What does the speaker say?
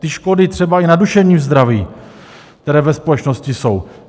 Ty škody třeba i na duševním zdraví, které ve společnosti jsou...